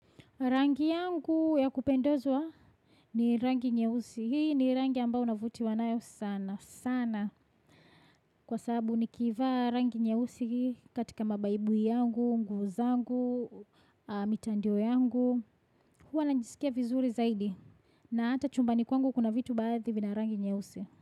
Rangi yangu ya kupendezwa ni rangi nyeusi. Hii ni rangi ambao unavutiwa nayo sana, sana. Kwa sabu niikivaa rangi nyehusi hii katika mabaibu yangu, nguvu zangu, mitandio yangu. Huwananjisikia vizuri zaidi. Na ata chumbani kwangu kuna vitu baadhi vina rangi nyeusi.